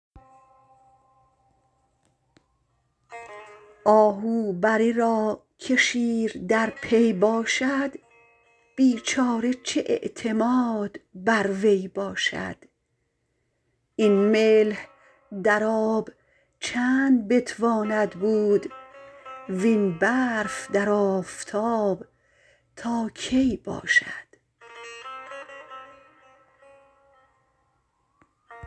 آهو بره را که شیر در پی باشد بیچاره چه اعتماد بر وی باشد این ملح در آب چند بتواند بود وین برف در آفتاب تا کی باشد